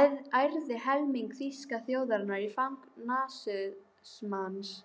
ærði helming þýsku þjóðarinnar í fang nasismans.